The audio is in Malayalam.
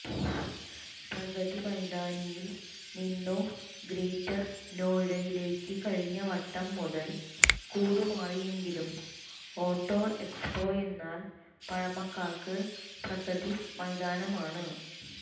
പ്രഗതി മൈതാനിയിൽ നിന്നു ഗ്രേറ്റർ നോയിഡയിലേക്ക് കഴിഞ്ഞ വട്ടം മുതൽ കൂടുമാറിയെങ്കിലും ഓട്ടൊ എക്സ്പൊയെന്നാൽ പഴമക്കാർക്ക് പ്രഗതി മൈതാനമാണ്